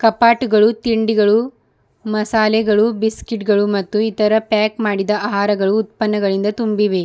ಕಫಟುಗಳು ತಿಂಡಿಗಳು ಮಸಾಲೆಗಳು ಬಿಸ್ಕಟ್ ಗಳು ಮತ್ತು ಇತರ --